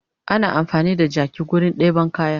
Ana amfani da jaki wurin ɗeban kaya